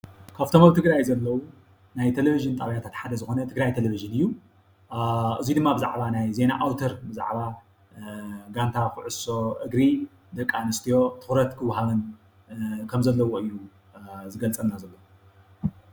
ካብቶም አብ ትግራይ ዘለው ናይ ቴሌቪዥን ጣብያታት ሓደ ዝኮኑ ትግራይ ቴሌቪዥን እዩ፡፡ እዚ ድማ ብዛዕባ ናይ ዜና አውተር፣ ብዛዕባ ጋንታ ኩዕሶ እግሪ ደቂ አንስትዮ ትኩረት ክወሃበን ከም ዘለዎን እዩ ዝገልፀልና ዘሎ፡፡